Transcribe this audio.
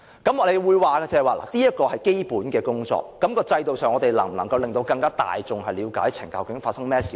有人會說這是基本工作，至於在制度上，我們能否令大眾更了解究竟懲教署發生甚麼事呢？